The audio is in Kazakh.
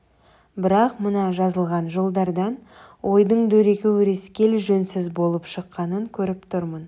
бірақ мына жазылған жолдардан ойдың дөрекі өрескел жөнсіз болып шыққанын көріп тұрмын